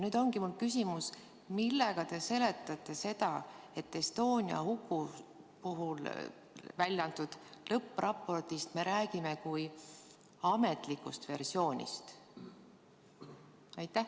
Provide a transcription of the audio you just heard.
Nüüd ongi mul küsimus: millega te seletate seda, et Estonia huku puhul välja antud lõppraportist me räägime kui ametlikust versioonist?